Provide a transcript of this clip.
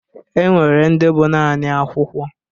E nwere ndị bụ naanị akwụkwọ